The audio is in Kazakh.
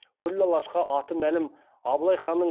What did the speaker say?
күллі алашқа аты мәлім абылай ханның